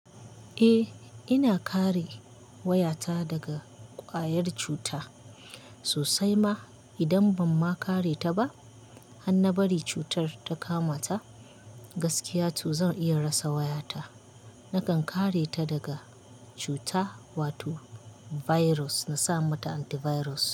Eh ina kare wayata daga ƙwayar cuta sosai ma idan ban ma kareta ba, har na bari cutar ta kamata gaskiya to zan iya rasa wayata. Nakan kare ta daga cuta wato virus na saka mata antivirus.